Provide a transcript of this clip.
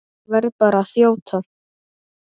Verð bara að þjóta!